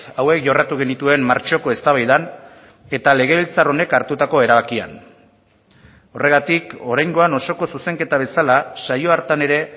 hauek jorratu genituen martxoko eztabaidan eta legebiltzar honek hartutako erabakian horregatik oraingoan osoko zuzenketa bezala saio hartan ere